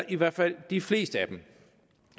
i hvert fald i de fleste af dem